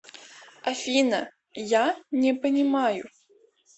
афина я не понимаю